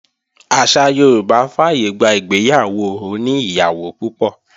Àṣà Yorùbá fàyègbà ìgbéyàwó oní ìyàwó púpọ̀